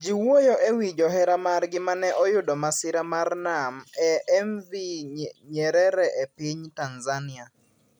Ji wuoyo e wi johera margi mane oyudo masira mar nam e MV Nyerere e piny Tanzania.